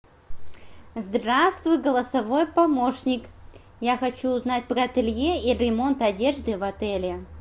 здравствуй голосовой помощник я хочу узнать про ателье и ремонт одежды в отеле